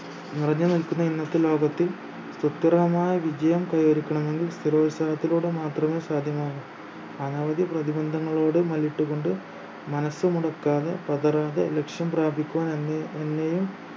നിറഞ്ഞ് നിൽക്കുന്ന ഇന്നത്തെ ലോകത്ത് ഉത്തരമായ വിജയം കൈവരിക്കണമെങ്കിൽ സ്ഥിരോത്സഹത്തിലൂടെ മാത്രമേ സാധ്യമാകു അനവധി പ്രതിബന്ധങ്ങളോട് മല്ലിട്ടു കൊണ്ട് മനസ്സു മുടക്കാതെ പതറാതെ ലക്ഷ്യം പ്രാപിക്കുവാൻ അന്നു അന്നയും